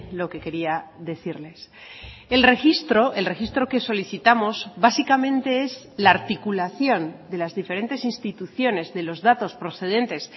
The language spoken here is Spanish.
lo que quería decirles el registro el registro que solicitamos básicamente es la articulación de las diferentes instituciones de los datos procedentes